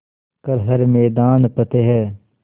कर हर मैदान फ़तेह